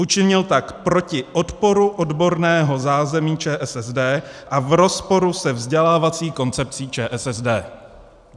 Učinil tak proti odporu odborného zázemí ČSSD a v rozporu se vzdělávací koncepcí ČSSD.